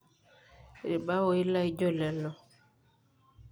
irbaoi laijo lelo